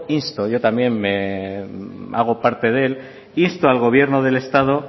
insto yo también hago parte de él insto al gobierno del estado